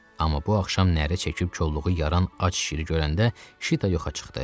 Amma bu axşam nərə çəkib kolluğu yaran ac şiri görəndə Şita yoxa çıxdı.